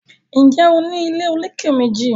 Njé O ní ilé olokè méjì?